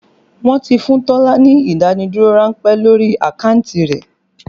Wọn ti fún Tọ́lá ní ìdádúró ránpẹ́ lórí àkáǹtì rẹ̀